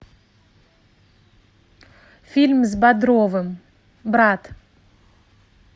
фильм с бодровым брат